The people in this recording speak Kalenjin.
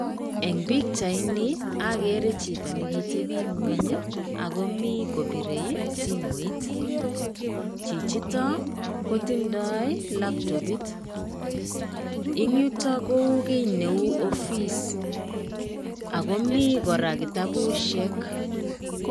Eng' pichaini agere chito nekiteb en ng'weny ago mi kobirei simoit. Chichito, kotindoi laptopit. Eng' yuto kou kiy neu ofis ago mi koraa kitabusiek.